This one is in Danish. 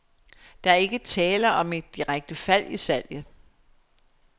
Der er ikke tale om et direkte fald i salget.